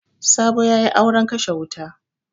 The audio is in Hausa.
Sabo ya yi auren kashe wuta.